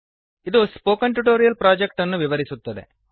ಇದು spoken tutorial project ಅನ್ನು ವಿವರಿಸುತ್ತದೆ